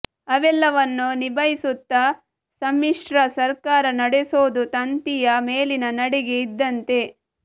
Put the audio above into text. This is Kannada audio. ಅವೆಲ್ಲವನ್ನು ನಿಭಾಯಿಸುತ್ತ ಸಮ್ಮಿಶ್ರ ಸರ್ಕಾರ ನಡೆಸೋದು ತಂತಿಯ ಮೇಲಿನ ನಡಿಗೆ ಇದ್ದಂತೆ